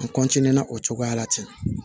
N na o cogoya la ten